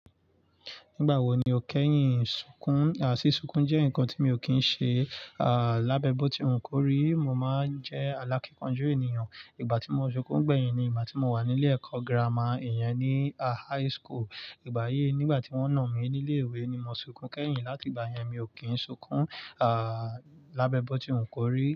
Nígbà wo ni o kẹ́yìn sunkún? Àsi sunkún jẹ́ ǹkan tí mi ò kí ń ṣe, à lábẹ́ bótí òun kórìí, mo máa ń jẹ́ aláìkánjú ènìyàn. Ìgbà tí mo sunkún gbẹ̀yìn ni ìgbà tí mo wà ní ilé ẹ̀kọ́ girama, ìyẹn ní a high school. Ìgbà yí, nígbà tí wọ́n nà mí ní ilé ìwé ni mo sunkún kẹ́yìn, láti ìgbà yẹn mi ò kí ń sunkún, à lábẹ́ bótí òun kórìí.